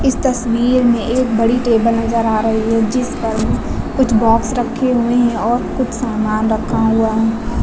इस तस्वीर में एक बड़ी टेबल नजर आ रही है जिस पर कुछ बॉक्स रखे हुए हैं और कुछ सामान रखा हुआ है।